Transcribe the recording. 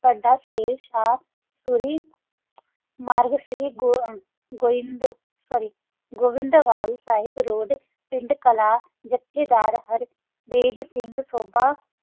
ਸਦਾ ਫ਼ਰ ਥਾ ਕਾ ਗੋਵਾਂਦਾ ਵਾਲਾ ਦਾ ਨਾਲ ਪੰਡ ਕਲਾ ਜਬ ਕਾ ਦਰ ਬਾਜ ਸਿੰਘ ਸਾਕਾ